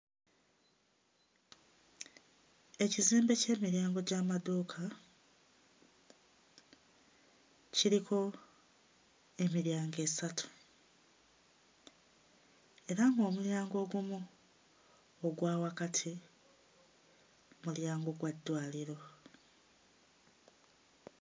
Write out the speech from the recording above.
Ekizimbe ky'emiryango gy'amaduuka kiriko emiryango esatu era ng'omulyango ogumu ogwa wakati mulyango gwa ddwaliro.